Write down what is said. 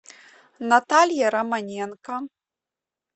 наталья романенко